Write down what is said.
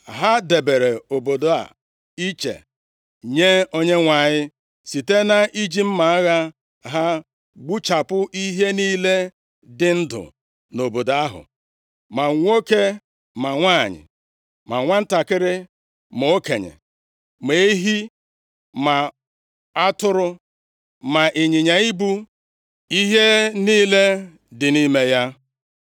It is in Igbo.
Ha debere obodo a iche nye Onyenwe anyị site nʼiji mma agha ha gbuchapụ ihe niile dị ndụ nʼobodo ahụ, ma nwoke, ma nwanyị, ma nwantakịrị, ma okenye, ma ehi, ma atụrụ, ma ịnyịnya ibu, ihe niile dị nʼime ya.